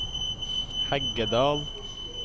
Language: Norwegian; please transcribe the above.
Heggedal